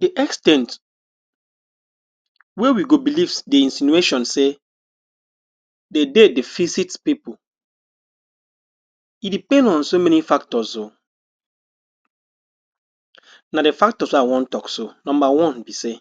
Di ex ten t wey we go believe di insinuations say, Di dead dey visits pipo e depend on so many factors o. Na Di factors wey I wan tok so. Number one be say,